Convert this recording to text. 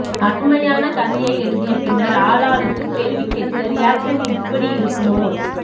அருமையான கதையை எழுதிய பின்னர் ஆளாளுக்கு கேள்வி கேட்க ரியாக்சன் இப்படி இருக்குமோ